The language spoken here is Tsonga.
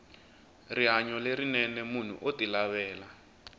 rihanyo lerinene munhu oti lavela